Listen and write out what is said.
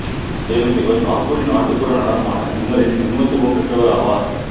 மேலும் இவர் நாக்புரி நாட்டுப்புற நடனமான ஜுமரில் நிபுணத்துவம் பெற்றவராவார்